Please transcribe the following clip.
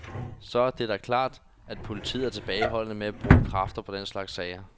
Så er det da klart, at politiet er tilbageholdende med at bruge kræfter på den slags sager.